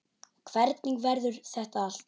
Hvernig verður þetta allt?